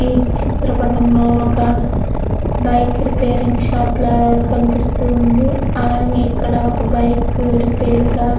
ఈ చిత్రపటంలో ఒక బైక్ రిపేర్ షాప్ లాగా కనబడుతున్నది. ఇక్కడ అలగేయ్ ఇక్కడ ఒక బైక్ రిపేర్ గా--